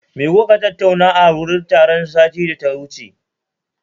Me kuka tattauna a wurin taron satin da ya wuce?